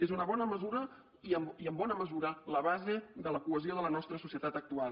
és una bona mesura i en bona mesura la base de la cohesió de la nostra societat actual